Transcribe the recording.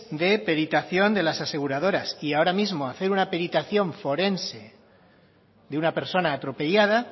de peritación de las aseguradoras y ahora mismo hacer una peritación forense de una persona atropellada